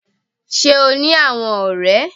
Sé o ní àwon òré